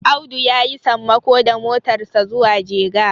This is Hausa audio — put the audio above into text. Audu ya yi sammako da motarsa zuwa jega